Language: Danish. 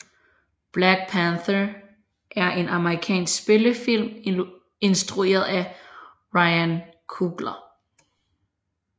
Black Panther er en amerikansk spillefilm instrueret af Ryan Coogler